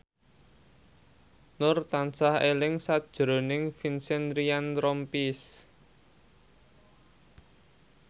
Nur tansah eling sakjroning Vincent Ryan Rompies